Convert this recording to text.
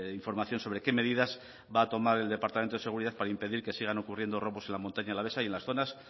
información sobre qué medidas va a tomar el departamento de seguridad para impedir que sigan ocurriendo robos en la montaña alavesa y en las zonas